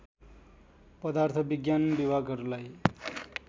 पदार्थ विज्ञान विभागहरूलाई